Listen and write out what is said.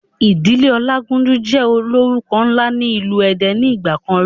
Ìdílé ọlágúnjú jẹ́ ólórúko ńlá ni ilu èdè ni ìgbàkan rí